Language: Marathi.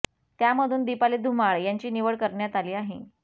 त्यामधून दीपाली धुमाळ यांची निवड करण्यात आली आहे